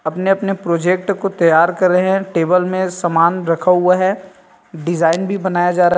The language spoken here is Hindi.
अपने-अपने प्रोजेक्ट को तैयार कर रहे हैं टेबल में सामान रखा हुआ है डिजाइन भी बनाया जा रहा है ।